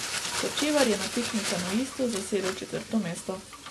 Hočevar je na tekmi kanuistov zasedel četrto mesto.